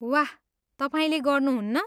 वाह, तपाईँले गर्नुहुन्न?